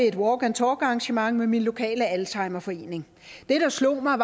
et walk and talk arrangement med min lokale alzheimerforening det der slog mig